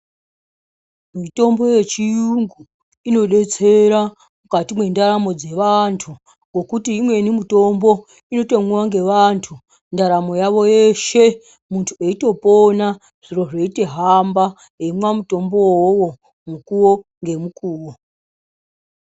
Mitombo yechiyungu inodetsera mukati mwendaramo dzevanthu ngokuti imweni mutombo inotomwiwa ngeavanthu ndaramo yavo yeshe munthu eitopona zviro zveitohamba eimwa mutombowo wo mukuwo ngemukuwo.